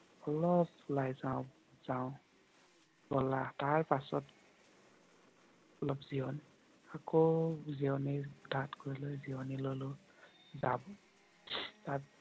অলপ চাও বলা। তাৰ পাছত অলপ জিৰণি আকৌ জিৰণি তাত গলৈ জিৰণি ললোঁ।